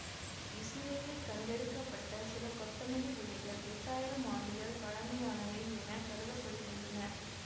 இசுரேலில் கண்டெடுக்க பட்ட சில கொத்தமல்லி விதைகள் எட்டாயிரம் ஆண்டுகள் பழமையானவை என கருத படுகின்றன